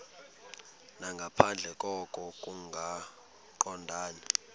nangaphandle koko kungaqondani